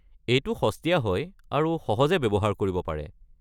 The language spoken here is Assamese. এইটো সস্তীয়া হয় আৰু সহজে ব্যৱহাৰ কৰিব পাৰে।